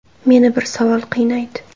Meni bir savol qiynaydi.